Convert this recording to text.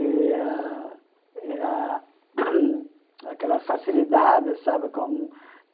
E a e a aquela facilidade, sabe com?